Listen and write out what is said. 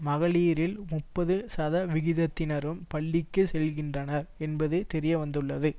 மகளீரில் முப்பது சதவிகிதத்தினரும் பள்ளிக்கு செல்லுகின்றனர் என்பது தெரிய வந்துள்ளது